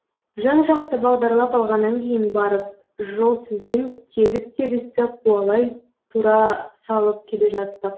жан жақты бағдарлап алғаннан кейін барып жолсызбен тегіс тегісті қуалай тура салып келе жаттық